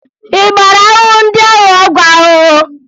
Ị gbara ahụhụ ndị ahụ ọgwụ ahụhụ?